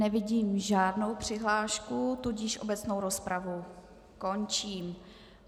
Nevidím žádnou přihlášku, tudíž obecnou rozpravu končím.